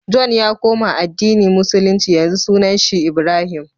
john ya koma addini musulunci yanzu sunan shi ibrahim